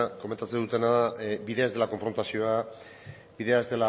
komentatzen dutena da bidea ez dela konfrontazioa bidea ez